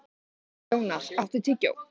Jónar, áttu tyggjó?